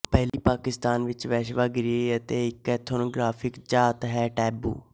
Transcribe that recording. ਪਹਿਲੀ ਪਾਕਿਸਤਾਨ ਵਿੱਚ ਵੇਸ਼ਵਾਗੀਰੀ ਤੇ ਇੱਕ ਐਥਨੋਗ੍ਰਾਫਿਕ ਝਾਤ ਹੈ ਟੈਬੂ